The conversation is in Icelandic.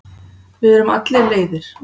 Við erum allir leiðir.